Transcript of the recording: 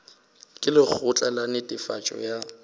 ka lekgotla la netefatšo ya